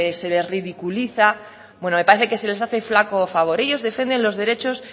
se les ridiculiza bueno me parece que se les hace flaco favor ellos defienden los derechos